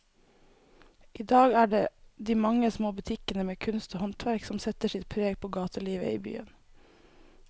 I dag er det de mange små butikkene med kunst og håndverk som setter sitt preg på gatelivet i byen.